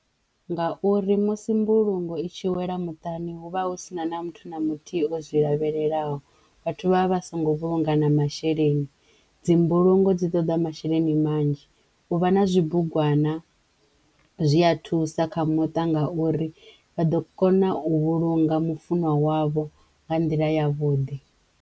Ngauri musi mbulungo i tshi wela muṱani hu vha hu sina na muthu na muthihi o zwi lavhelelaho vhathu vha vha vha songo vhulunga na masheleni dzi mbulungo dzi ṱoḓa masheleni manzhi u vha na zwibugwana zwi ya thusa kha muṱa ngauri vha ḓo kona u vhulunga mufunwa wavho nga nḓila ya vhuḓi.